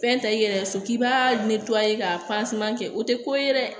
Fɛn ta i yɛrɛ so k'i b'a ka kɛ o tɛ ko ye dɛ